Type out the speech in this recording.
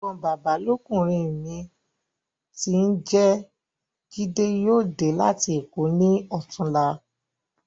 Ẹ̀gbọ́n bàbá lọ́kùnrin mi tí ń jẹ́ jídé yóò dé láti Èkó ní ọ̀túnla.